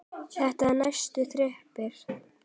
Þetta er neðsta þrepið.